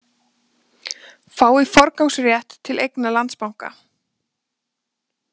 Fái forgangsrétt til eigna Landsbanka